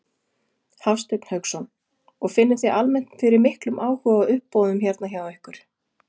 Hafsteinn Hauksson: Og finnið þið almennt fyrir miklum áhuga á uppboðum hérna hjá ykkur?